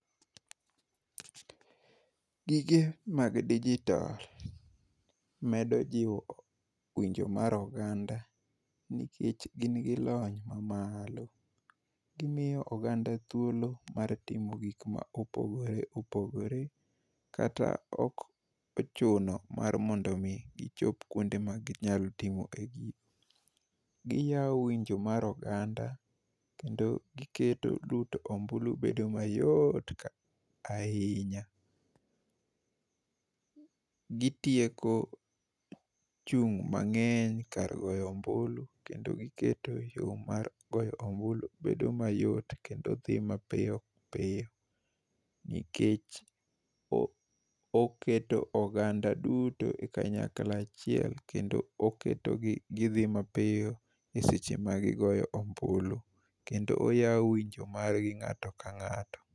Gige mag digital medo jiwo winjo mar oganda, nikech, gin gi lony mamalo. Gimiyo oganda thuolo mar timo gik ma opogore opogore. Kata ok ochuno mar mondo omi gichop kuonde ma ginyalo timo e gigi. Giyawo winjo mar oganda, kendo giketo luto ombulu bedo mayot ka ahinya. Gitieko chung' mangény kar goyo ombulu, kendo giketo yo mar goyo ombulu bedo mayot, kendo dhi mapiyo piyo. Nikech oketo oganda duto e kanyakla achiel kendo oketo gi gidhi mapiyo e seche ma gigoyo ombulu, kendo oyawo winjo margi ngáto ka ngáto.